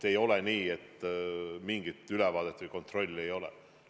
Ei ole nii, et mingit ülevaadet või kontrolli ei ole.